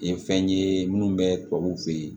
Nin ye fɛn ye minnu bɛ tubabuw fɛ yen